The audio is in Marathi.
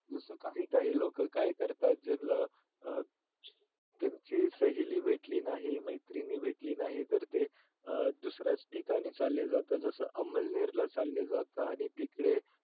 जस काही काही लोक काय करतात ज्यांना अं त्यांची सहेली भेटली नाही मैत्रीण भेटली नाही तर ते अं दुसऱ्याच ठिकाणी चालले जातात जस अमळनेर ला चालले जाता आणि तिकडे